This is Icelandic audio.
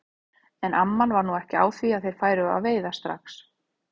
En amman var nú ekki á því að þeir færu að veiða strax.